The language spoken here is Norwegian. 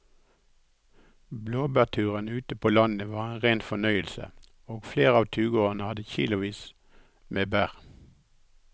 Blåbærturen ute på landet var en rein fornøyelse og flere av turgåerene hadde kilosvis med bær.